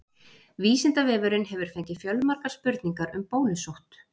Vísindavefurinn hefur fengið fjölmargar spurningar um bólusótt.